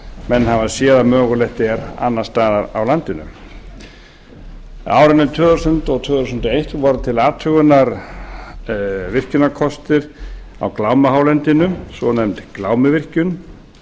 menn hafa séð að mögulegt er annars staðar á landinu á árinu tvö þúsund og tvö þúsund og eitt voru til athugunar virkjunarkostir á glámuhálendinu svonefnd glámuvirkjun